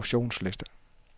distributionsliste